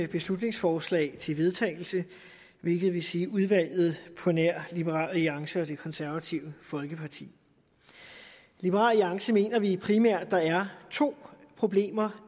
beslutningsforslag til vedtagelse hvilket vil sige udvalget på nær liberal alliance og det konservative folkeparti i liberal alliance mener vi primært er to problemer